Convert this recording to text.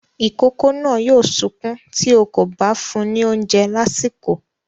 Ìkókó náà yóò sunkún tí ó kò bá fún ní oúnjẹ lásìkò.